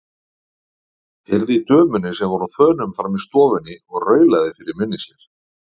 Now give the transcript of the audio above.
Heyrði í dömunni sem var á þönum frammi í stofunni og raulaði fyrir munni sér.